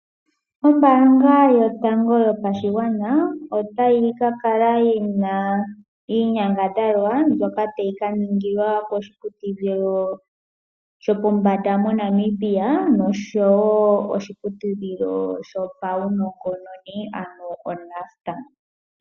Ombaanga yotango yopashigwana otayi ka kala yina iinyangadhalwa mbyoka tayi ka kala yili koshiputudhilo shopo mbanda mo Namibia nosho woo koshiputudhilo shopaunongononi ano o Nust.